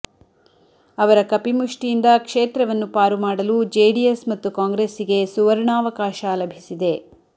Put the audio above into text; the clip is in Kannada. ಅವರ ಕಪಿಮುಷ್ಟಿಯಿಂದ ಕ್ಷೇತ್ರವನ್ನು ಪಾರು ಮಾಡಲು ಜೆಡಿಎಸ್ ಮತ್ತು ಕಾಂಗ್ರೆಸ್ಸಿಗೆ ಸುವರ್ಣಾವಕಾಶ ಲಭಿಸಿದೆ